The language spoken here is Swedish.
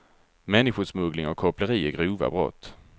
Människosmuggling och koppleri är grova brott.